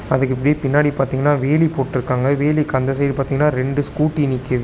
அதுக்கு இப்டி பின்னாடி பாத்தீங்னா வேலி போட்டு இருக்காங்க வேலிக்கு அந்த சைடு பாத்தீங்னா ரெண்டு ஸ்கூட்டி நிக்கிது.